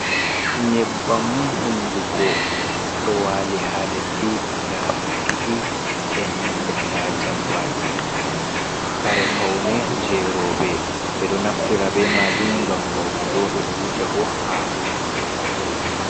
Nyebbam hunduko ɗo wali haa leddi guda ɗiɗi, e nanta jambaki. Kare faune je roɓe ɓe ɗo naftira be majum ngam faunugo, ɓe ɗo wuja bo ha hunduko maɓɓe.